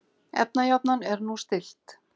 Efnajafnan er nú stillt.